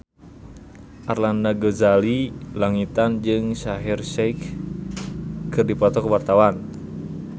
Arlanda Ghazali Langitan jeung Shaheer Sheikh keur dipoto ku wartawan